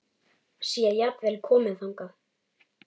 Sé jafnvel komið þangað!